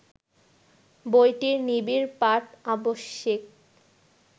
বইটির নিবিড় পাঠ আবশ্যিক